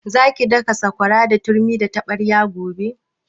Za ki daka sakwara da turmi da taɓarya gobe?